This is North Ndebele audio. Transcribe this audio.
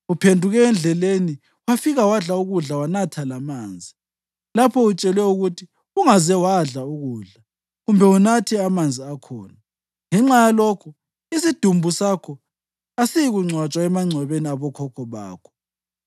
Uphenduke endleleni wafika wadla ukudla wanatha lamanzi lapho utshelwe ukuthi ungaze wadla ukudla kumbe unathe amanzi akhona. Ngenxa yalokho isidumbu sakho asisayikungcwatshwa emangcwabeni abokhokho bakho.’ ”